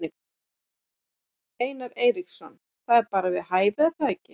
Einar Eiríksson: Það er bara við hæfi er það ekki?